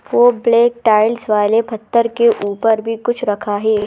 वह black tiles वाले पत्थर के ऊपर भी कुछ रखा है।